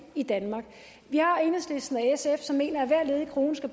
i danmark vi har enhedslisten og sf som mener at hver ledig krone skal